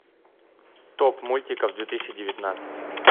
топ мультиков две тысячи девятнадцать